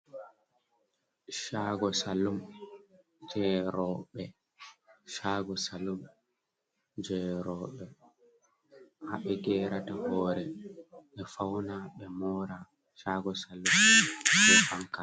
Shaago salum je roɓe ha ɓe gerata hore ɓe fauna ɓe mora chaago salum be fanka.